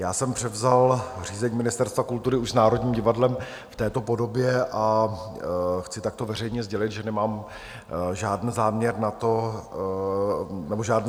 Já jsem převzal řízení Ministerstva kultury už s Národním divadlem v této podobě a chci takto veřejně sdělit, že nemám žádný záměr tento stav měnit.